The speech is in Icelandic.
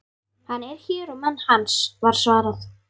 Hann er hér og menn hans, var svarað.